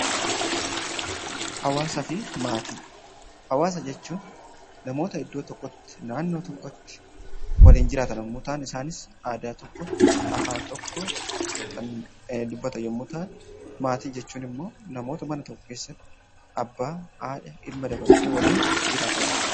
Hawaasaa fi maatii Hawaasa jechuun namoota iddoo tokkotti, naannoo tokkotti walitti qabamanii aadaa tokko, afaan tokko kan dubbatan yemmuu ta'an, maatii jechuun immoo namoota mana tokko keessatti abbaa, haadha ilma dabalatee waliin jiraatan jechuudha.